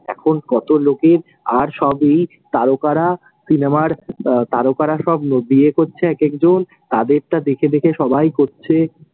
এখন কতো লোকের আর সবই তারকারা সিনেমার আহ তারকারা সব বিয়ে করছে এক এক জন, তাদেরটা দেখে দেখে সবাই করছে।